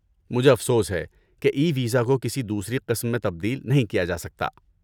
مجھے افسوس ہے کہ ای ویزا کو کسی دوسری قسم میں تبدیل نہیں کیا جاسکتا